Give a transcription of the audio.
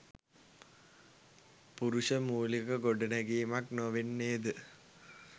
පුරුෂ මූලික ගොඩනැඟීමක් නොවන්නේද?